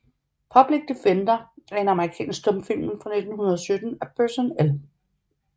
Public Defender er en amerikansk stumfilm fra 1917 af Burton L